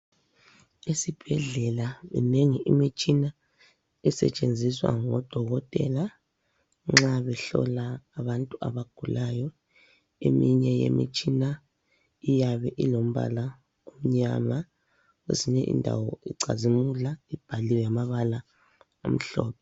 Esibhedlela minengi imitshina esetshenziswa ngodokotela nxa behlola abantu abagulayo eminye yemitshina iyabe ilombala omnyama kwezinye indawo icazimula ibhaliwe ngamabala amhlophe.